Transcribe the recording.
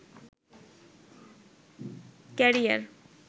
career